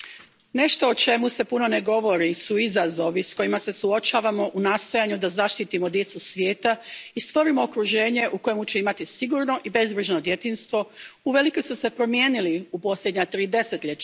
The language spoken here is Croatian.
Poštovani predsjedavajući, izazovi s kojima se suočavamo u nastojanju da zaštitimo djecu svijeta i stvorimo okruženje u kojemu će imati sigurno i bezbrižno djetinjstvo uvelike su se promijenili u posljednja tri desetljeća.